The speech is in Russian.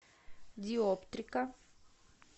диоптрика